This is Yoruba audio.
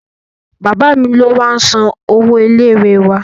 Bàbá mi ló máá ń san owó ilé ìwé wa